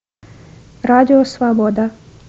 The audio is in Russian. радио свобода